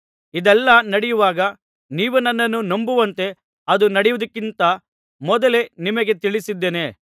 ಇದೆಲ್ಲಾ ನಡೆಯುವಾಗ ನೀವು ನನ್ನನ್ನು ನಂಬುವಂತೆ ಅದು ನಡೆಯುವುದಕ್ಕಿಂತ ಮೊದಲೇ ನಿಮಗೆ ತಿಳಿಸಿದ್ದೇನೆ